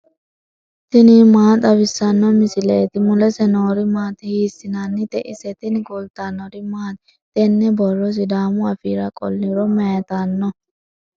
tini maa xawissanno misileeti ? mulese noori maati ? hiissinannite ise ? tini kultannori maati? tene borro sidaamu affira qoliro mayiittanno?